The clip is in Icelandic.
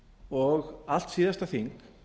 og allt síðasta þing